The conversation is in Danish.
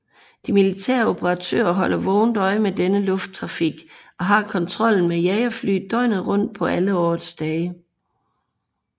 De militære operatører holder vågent øje med denne lufttrafik og har kontrollen med jagerfly døgnet rundt på alle årets dage